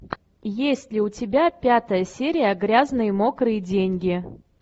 есть ли у тебя пятая серия грязные мокрые деньги